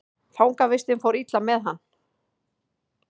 Fangavistin fór illa með hann.